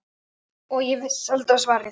Og ég vissi alltaf svarið.